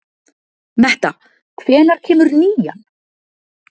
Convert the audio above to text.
Metta, hvenær kemur nían?